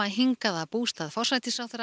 hingað í bústað forsætisráðherra